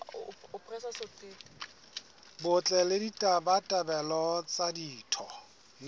botle le ditabatabelo tsa ditho